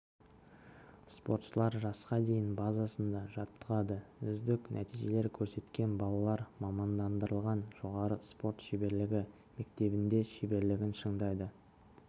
спортшылар жасқа дейін базасында жаттығады үздік нәтижелер көрсеткен балалар мамандандырылған жоғары спорт шеберлігі мектебінде шеберлігін шыңдайды